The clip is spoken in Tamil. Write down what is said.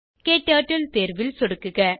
க்டர்ட்டில் தேர்வில் சொடுக்குக